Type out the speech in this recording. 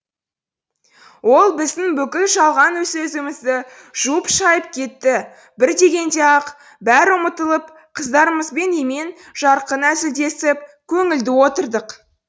ол біздің бүкіл жалған сөзімізді жуып шайып кетті бір дегенде ақ бәрі ұмытылып қыздарымызбен емен жарқын әзілдесіп көңілді отырдық